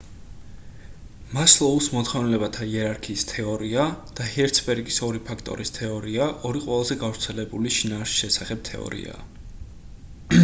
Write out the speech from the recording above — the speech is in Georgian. მასლოუს მოთხოვნილებათა იერარქიის თეორია და ჰერცბერგის ორი ფაქტორის თეორია ორი ყველაზე გავრცელებული შინაარსის შესახებ თეორიაა